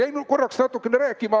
Jäin korraks natukene rääkima ...